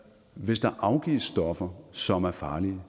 hvis der afgives stoffer som er farlige